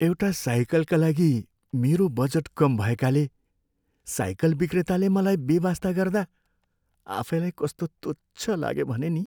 एउटा साइकलका लागि मेरो बजेट कम भएकाले साइकल विक्रेताले मलाई बेवास्ता गर्दा आफैलाई कस्तो तुच्छ लाग्यो भने नि।